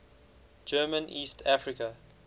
german east africa